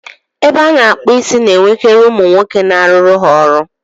Ebe a na-akpụ isi ga-enwekari umu nwoke n'aruru ha ọrụ.